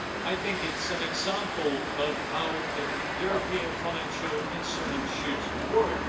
I think it's an example of how European financial instruments should work.